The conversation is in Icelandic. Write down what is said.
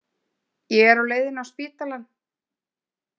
Ég er á leiðinni á spítalann.